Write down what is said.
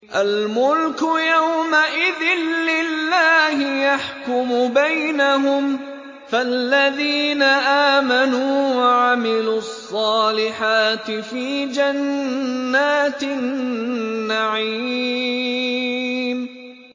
الْمُلْكُ يَوْمَئِذٍ لِّلَّهِ يَحْكُمُ بَيْنَهُمْ ۚ فَالَّذِينَ آمَنُوا وَعَمِلُوا الصَّالِحَاتِ فِي جَنَّاتِ النَّعِيمِ